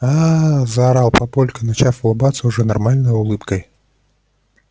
ааа заорал папулька начав улыбаться уже нормальной улыбкой